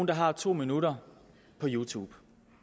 der har to minutter på youtube